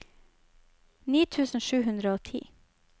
ni tusen sju hundre og ti